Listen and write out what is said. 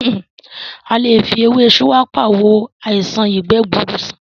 A lè fi ewé shuwaka wo àìṣàn ìgbẹ́ gbuuru sàn